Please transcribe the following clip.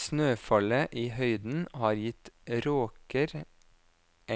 Snøfallet i høyden har gitt råker